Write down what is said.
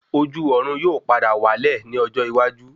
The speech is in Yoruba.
Ojú Ọ̀run yóò padà wá lẹ̀ ní ọjọ́ iwájú